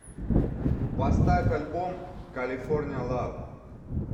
поставь альбом калифорния лав